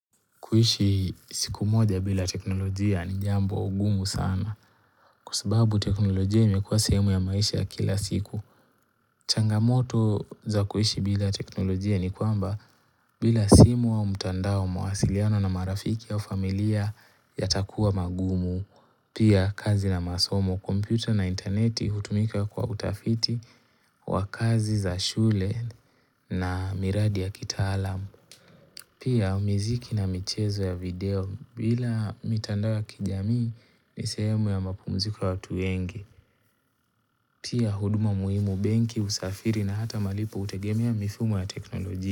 Kuishi siku moja bila teknolojia ni jambo ngumu sana kwa sababu teknolojia imekuwa sehemu ya maisha kila siku. Changamoto za kuishi bila teknolojia ni kwamba bila simu au mtandao mawasiliano na marafiki au familia yatakuwa mangumu. Pia kazi na masomo, kompyuta na interneti hutumika kwa utafiti wa kazi za shule na miradi ya kitaalamu. Pia miziki na michezo ya video bila mitandao wa kijamii ni sehemu ya mapumziko ya watu wengi pia huduma muhimu benki usafiri na hata malipo hutegemea mifumo ya teknolojia.